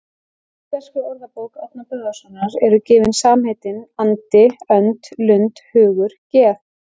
Í Íslenskri orðabók Árna Böðvarssonar eru gefin samheitin andi, önd, lund, hugur, geð